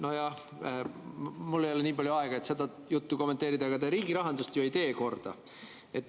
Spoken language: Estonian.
Nojah, mul ei ole nii palju aega, et seda juttu kommenteerida, aga riigi rahandust te ju korda ei tee.